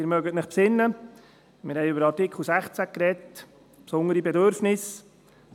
Sie erinnern sich, wir sprachen über Artikel 16, «Besondere Bedürfnisse».